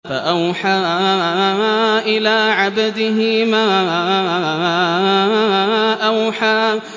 فَأَوْحَىٰ إِلَىٰ عَبْدِهِ مَا أَوْحَىٰ